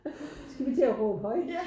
Skal vi til og råbe højt